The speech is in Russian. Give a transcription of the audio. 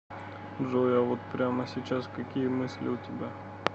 джой а вот прямо сейчас какие мысли у тебя